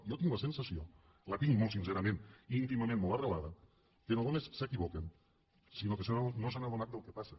jo tinc la sensació la tinc molt sincerament íntimament molt arrelada que no només s’equivoquen sinó que no s’han adonat del què passa